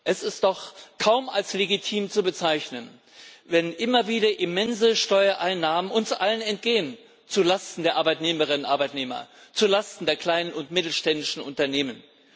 Es ist doch kaum als legitim zu bezeichnen, wenn uns allen immer wieder immense Steuereinnahmen entgehen zu Lasten der Arbeitnehmerinnen und Arbeitnehmer, zu Lasten der kleinen und mittelständischen Unternehmen.